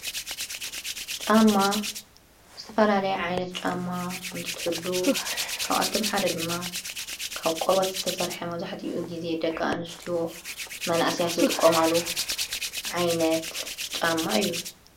ጫማ ስተፋ ላለይ ዓይነት ጫማ እንትትሉ ካብኣቶም ሓደ ድማ ካብ ቈርወት ዝተሠርሐ መዙሕቲ ኡ ጊዜ ደቃ እንስቲዎ መናእስያት ዝጥቆምሉ ዓይነት ጫማ እዩ።